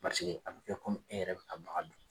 a bɛ kɛ e yɛrɛ bɛ ka baga min.